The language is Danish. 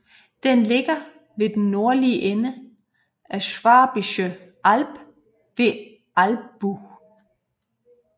Den ligger ved den nordlige ende af Schwäbische Alb ved Albuch